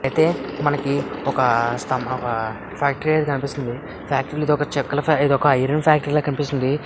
ఐతే మనకి ఒక ఫ్యాక్టరీ అనేది కనిపిస్తుంది. ఇది ఒక చెక్కల ఇది ఒక ఐరన్ ఫ్యాక్టరీ లా కనిపిస్తుంది.